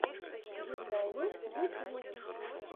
дизайнер ютьюб